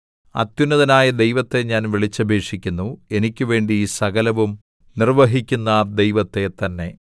അത്യുന്നതനായ ദൈവത്തെ ഞാൻ വിളിച്ചപേക്ഷിക്കുന്നു എനിക്കുവേണ്ടി സകലവും നിർവ്വഹിക്കുന്ന ദൈവത്തെ തന്നെ